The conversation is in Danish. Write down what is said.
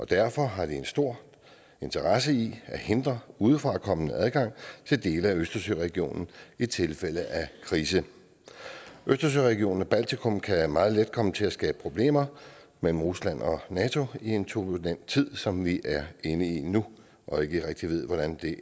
derfor har de en stor interesse i at hindre udefrakommende adgang til dele af østersøregionen i tilfælde af krise østersøregionen og baltikum kan meget let komme til at skabe problemer mellem rusland og nato i en turbulent tid som vi er inde i nu og ikke rigtig ved hvordan